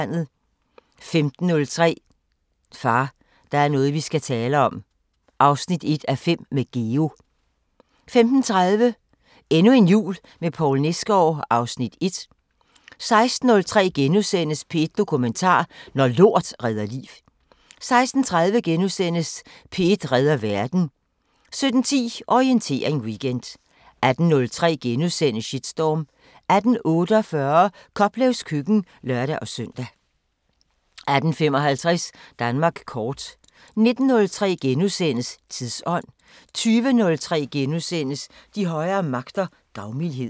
15:03: Far, der er noget vi skal tale om 1:5 – med Geo 15:30: Endnu en jul med Poul Nesgaard (Afs. 1) 16:03: P1 Dokumentar: Når lort redder liv * 16:30: P1 redder verden * 17:10: Orientering Weekend 18:03: Shitstorm * 18:48: Koplevs køkken (lør-søn) 18:55: Danmark kort 19:03: Tidsånd * 20:03: De højere magter: Gavmildhed *